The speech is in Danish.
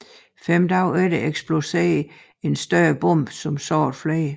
Fem dage efter eksploderede en større bombe som sårede flere